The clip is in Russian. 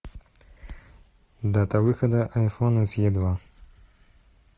дата выхода айфона с е два